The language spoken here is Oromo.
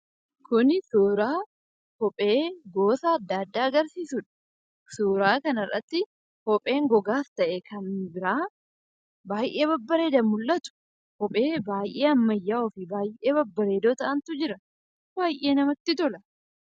Kunis suura kophee gosa adda addaa agarsiisudha. Suura kana irratti kophee gogaas ta'ee kan biraa baay'ee babbareedan mul'atu. Kopheewwan ammayyawoo ta'an adda addaatu jira